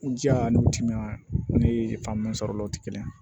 N jija an n'u timinan ne fan bɛɛ sɔrɔla o tɛ kelen ye